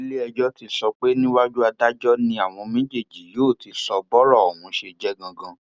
iléẹjọ ti sọ pé níwájú adájọ ni àwọn méjèèjì yóò ti sọ bọrọ ọhún ṣe jẹ ganan